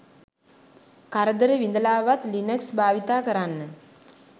කරදර විඳලාවත් ලිනක්ස් භාවිතා කරන්න